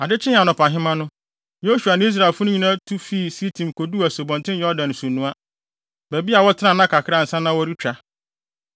Ade kyee anɔpahema no, Yosua ne Israelfo no nyinaa tu fii Sitim koduu Asubɔnten Yordan nsunoa, baabi a wɔtenaa nna kakra ansa na wɔretwa.